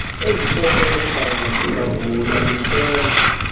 ezikrokrelekayo mazingavulwa lumkela